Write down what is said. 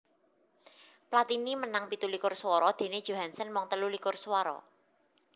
Platini menang pitu likur suwara déné Johansson mung telu likur swara